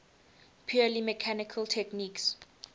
purely mechanical techniques